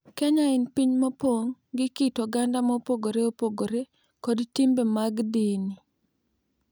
Kenya en piny mopong’ gi kit oganda mopogore opogore kod timbe mag dini,